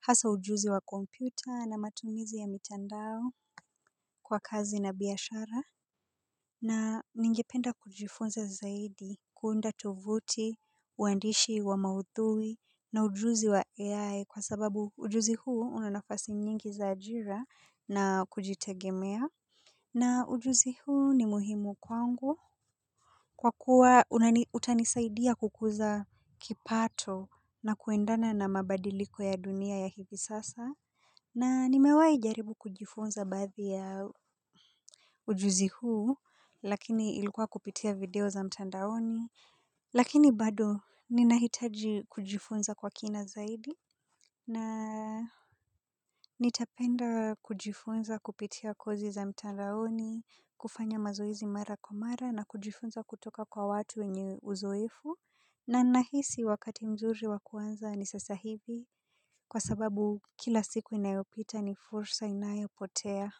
hasa ujuzi wa kompyuta na matumizi ya mitandao kwa kazi na biashara. Na ningependa kujifunza zaidi kuunda tovuti, uandishi wa maudhui na ujuzi wa AI kwa sababu ujuzi huu una nafasi nyingi za ajira na kujitegemea. Na ujuzi huu ni muhimu kwangu. Kwa kuwa utanisaidia kukuza kipato na kuendana na mabadiliko ya dunia ya hivi sasa. Na nimewai jaribu kujifunza baadhi ya ujuzi huu, lakini ilkua kupitia video za mtandaoni. Lakini bado ninahitaji kujifunza kwa kina zaidi. Na nitapenda kujifunza kupitia kozi za mtaraoni, kufanya mazoezi mara kwa mara na kujifunza kutoka kwa watu wenye uzoefu. Na na hisi wakati mzuri wakuanza ni sasa hivi kwa sababu kila siku inayopita ni fursa inayopotea.